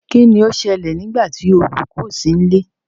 kín ni ó ṣẹlẹ̀ nígbà tí olùkọ ò sí nílé?